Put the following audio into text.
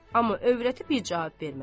Amma övrəti bir cavab vermədi.